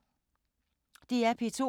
DR P2